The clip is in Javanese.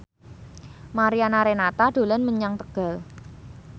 Mariana Renata dolan menyang Tegal